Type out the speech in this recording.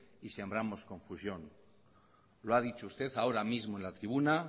y sembramos confusión lo ha dicho usted ahora mismo en la tribuna